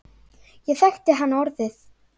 Ég þekkti hann orðið.